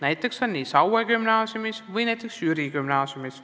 Näiteks on nii Saue Gümnaasiumis ja Jüri Gümnaasiumis.